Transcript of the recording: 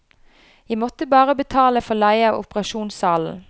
Jeg måtte bare betale for leie av operasjonssalen.